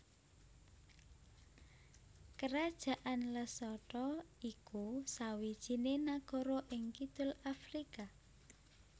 Kerajaan Lesotho iku sawijiné nagara ing kidul Afrika